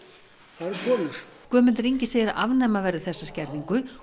það eru konur Guðmundur Ingi segir að afnema verði þessa skerðingu